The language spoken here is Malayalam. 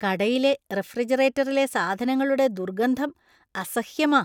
കടയിലെ റഫ്രിജറേറ്ററിലെ സാധനങ്ങളുടെ ദുർഗന്ധം അസഹ്യമാ.